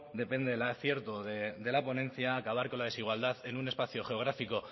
depende del acierto de la ponencia acabar con la desigualdad en un espacio geográfico